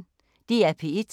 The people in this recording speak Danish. DR P1